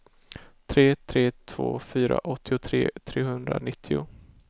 tre tre två fyra åttiotre trehundranittio